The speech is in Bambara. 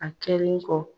A kɛlen kɔ